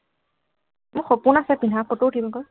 মোৰ সপোন আছে পিন্ধা, photo উঠিম আকৌ।